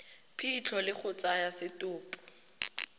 phitlho le go tsaya setopo